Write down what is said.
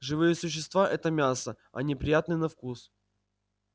живые существа это мясо они приятны на вкус